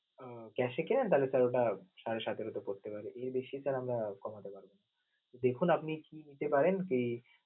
আহ Cash এ কিনেন তাহলে sir ওটা সাড়ে সতেরো তে পরতে পারে, এর বেশি sir আমরা কমাতে পারবো না. দেখুন আপনি কি নিতে পারেন কি